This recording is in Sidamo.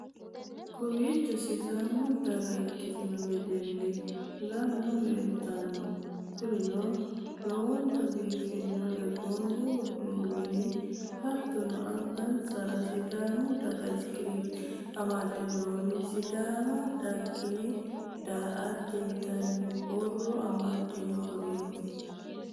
kowiicho sidaamu daga ikkitino wedeelli lamu leeltanno, kurino lowontanni biiffannori, gonfa uddidhi'nori hattono angasara sidaamu dagata isikerbe amadde noori ,sidaama daggine daa'atte yitanno borro amadde nooreeti.